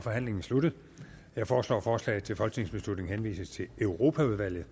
forhandlingen sluttet jeg foreslår at forslaget til folketingsbeslutning henvises til europaudvalget